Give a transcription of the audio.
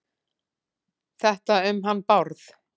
Þetta um hann Bárð?